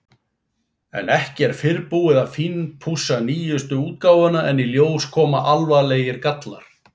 En ekki er fyrr búið að fínpússa nýjustu útgáfuna en í ljós koma alvarlegir gallar.